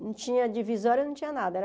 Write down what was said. Não tinha divisória, não tinha nada.